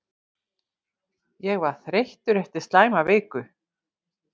Ég var þreyttur eftir slæma viku.